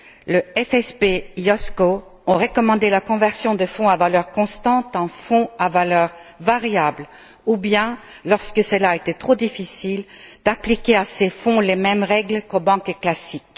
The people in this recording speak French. Le CSF et l'OICV ont recommandé la conversion des fonds à valeur constante en fonds à valeur variable ou, lorsque cela était trop difficile, d'appliquer à ces fonds les mêmes règles qu'aux banques classiques.